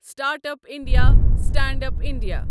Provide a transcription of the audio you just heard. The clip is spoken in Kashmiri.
startup India, stand up India